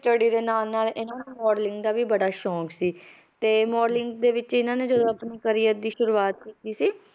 Study ਦੇ ਨਾਲ ਨਾਲ ਇਹਨਾਂ ਨੂੰ modeling ਦਾ ਵੀ ਬੜਾ ਸ਼ੌਂਕ ਸੀ ਤੇ modeling ਦੇ ਵਿੱਚ ਇਹਨਾਂ ਨੇ ਜਦੋਂ ਆਪਣੇ career ਦੀ ਸ਼ੁਰੂਆਤ ਕੀਤੀ ਸੀ,